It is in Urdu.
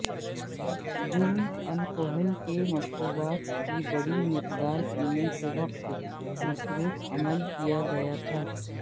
جرم الکوحل کے مشروبات کی بڑی مقدار پینے کے وقت مصروف عمل کیا گیا تھا